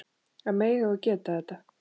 Að mega og geta þetta.